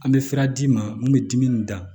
An bɛ sira d'i ma mun bɛ dimi da